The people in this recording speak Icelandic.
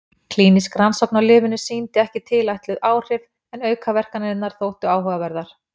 Klínísk rannsókn á lyfinu sýndi ekki tilætluð áhrif en aukaverkanirnar þóttu áhugaverðar.